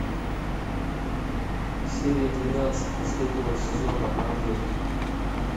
серия двенадцать последнего сезона ангел